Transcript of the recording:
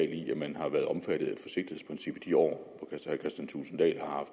i at man har været omfattet af i de år herre